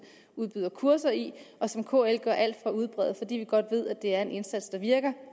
udbyder kurser i og som kl gør alt for at udbrede fordi vi godt ved at det er en indsats der virker